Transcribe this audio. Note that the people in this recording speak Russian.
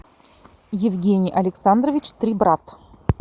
евгений александрович трибрат